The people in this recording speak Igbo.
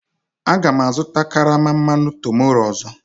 Aga m azụta karama mmanụ tomorroe ọzọ